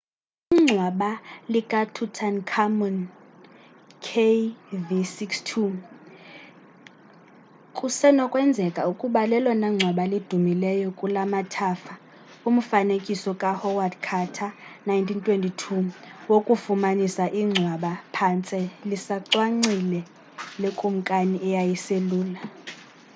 ingcwba lika tutankhamun kv62. kv62 kusenokwenzeka ukuba lelona ngcwaba lidumileyo kulamathafa ufanekiso ka howard carter's 1922 wokufumanisa ingcwaba phantse lisancwalile lekumkani eyayiselula